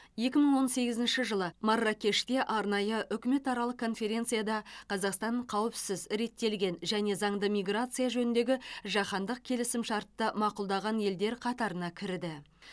екі мың он сегізінші жылы марракеште арнайы үкіметаралық конференцияда қазақстан қауіпсіз реттелген және заңды миграция жөніндегі жаһандық келісімшартты мақұлдаған елдер қатарына кірді